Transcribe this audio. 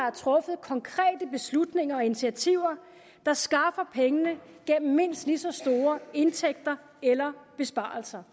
er truffet konkrete beslutninger om initiativer der skaffer pengene gennem mindst lige så store indtægter eller besparelser